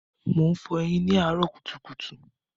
Mò ń fọyín ní àárọ́ kùtùkùtù.